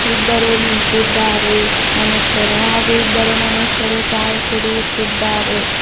ಇಬ್ಬರು ನಿಂತಿದ್ದಾರೆ ಮನುಷ್ಯರು ಹಾಗು ಇಬ್ಬರು ಮನುಷ್ಯರು ಚಾಯ್ ಕುಡಿಯುತ್ತಿದ್ದಾರೆ.